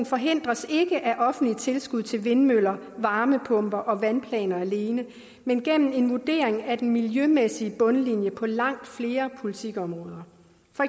forhindres ikke af offentlige tilskud til vindmøller varmepumper og vandplaner alene men gennem en vurdering af den miljømæssige bundlinje på langt flere politikområder